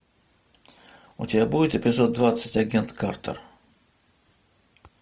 у тебя будет эпизод двадцать агент картер